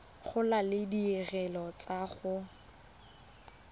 gola le ditirelo tsa go